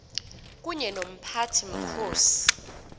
kunye nomphathi mkhosi